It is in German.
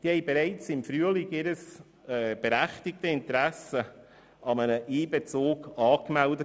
Diese hatten bereits im Frühjahr ihr Interesse an einem Einbezug angemeldet.